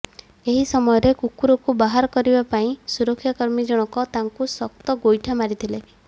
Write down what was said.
ଏହି ସମୟରେ କୁକୁରକୁ ବାହାର କରିବା ପାଇଁ ସୁରକ୍ଷାକର୍ମୀ ଜଣକ ତାକୁ ଶକ୍ତ ଗୋଇଠା ମାରିଥିଲେ